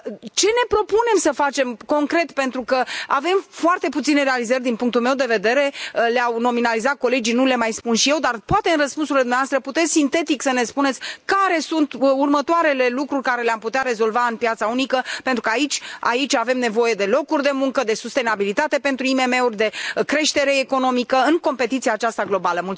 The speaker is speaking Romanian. Ce ne propunem să facem concret, pentru că avem foarte puține realizări din punctul meu de vedere, le au nominalizat colegii, nu le mai spun și eu, dar, poate, în răspunsurile dumneavoastră, puteți, sintetic, să ne spuneți care sunt următoarele lucruri pe care le am putea rezolva în piața unică, pentru că aici avem nevoie de locuri de muncă, de sustenabilitate pentru IMM uri, de creștere economică, în competiția aceasta globală.